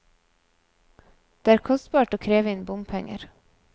Det er kostbart å kreve inn bompenger.